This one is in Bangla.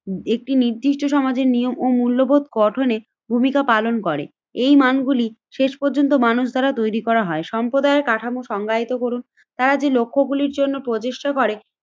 একটি নির্দিষ্ট সমাজের নিয়ম ও মূল্যবোধ গঠনে ভূমিকা পালন করে এই মানগুলি শেষ পর্যন্ত মানুষ দ্বারা তৈরি করা হয়। সম্প্রদায় কাঠামো সংজ্ঞায়িত করুন, তারা যে লক্ষ্য গুলির জন্য প্রচেষ্টা করে